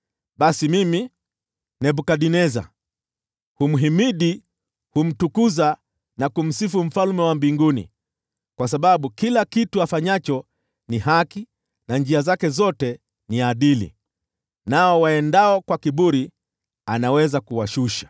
Basi mimi, Nebukadneza, humhimidi, na humtukuza na kumsifu Mfalme wa mbinguni, kwa sababu kila kitu afanyacho ni haki, na njia zake zote ni adili. Nao waendao kwa kiburi anaweza kuwashusha.